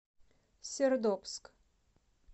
сердобск